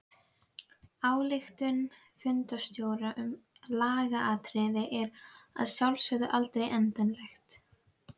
Ályktun fundarstjóra um lagaatriði er að sjálfsögðu aldrei endanleg.